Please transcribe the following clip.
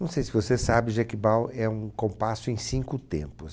Não sei se você sabe, Jequibal é um compasso em cinco tempos.